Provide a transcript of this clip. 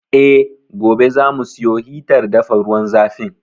Eh, gobe za mu siyo hitar dafa ruwan zafin.